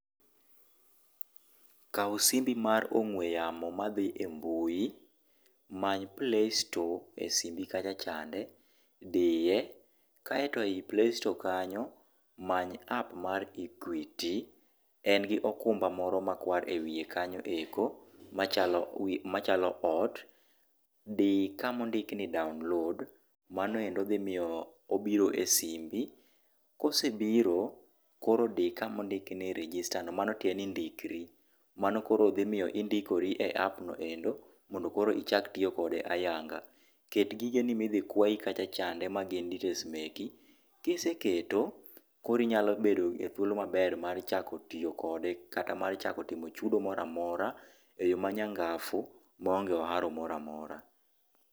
Kaw simbi mar ong'ue yamo madhi e mbui many playstore e simbi kacha chande diye kaeto e playstore kanyo many app mar equity en gi okumba moro makwar ewi kanyo eko machalo ot di kama ondik ni download mano ero dhi miyo obiro e simbi, kose biro koro di kama ondik ni register no mano tiende ni ndikri mano koro dhi miyo indikori e app no endo mondo koro ichak tiyo kode ayanga ,ket gige ni ma idhi kwayi kacha chande ma gin details meki ,kise keto koro inyalo bedo gi thuolo maber mar tiyo kode kata mar chako timo chudo moro amora eyo manyangafu ma onge oharo moro amora.